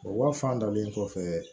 O wa fan dalen kɔfɛ